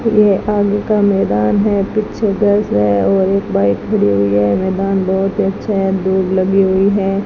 ये आगे का मैदान है पीछे गर्ल्स है और एक बाइक खड़ी हुई है मैदान बहोत अच्छा है दूब लगी हुई है।